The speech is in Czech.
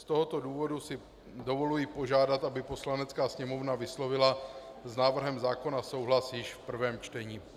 Z tohoto důvodu si dovoluji požádat, aby Poslanecká sněmovna vyslovila s návrhem zákona souhlas již v prvém čtení.